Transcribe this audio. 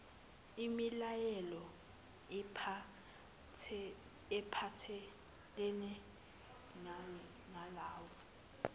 imilayelo ephathelene nalawo